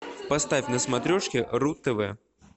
поставь на смотрешке ру тв